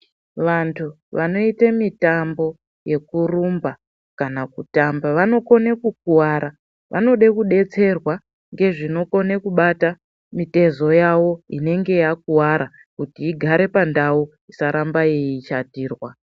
Vantu vanoite mitambo yekurumba kana kutamba vanokone kukuwara vanoda kudetserwa ngezvinokone kubata mitezo yavo inenge yakuwara kuti igare pandau isaramba yeishatirwa.